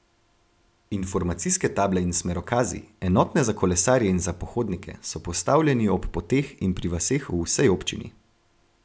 Informacijske table in smerokazi, enotne za kolesarje in za pohodnike, so postavljeni ob poteh in pri vaseh v vsej občini.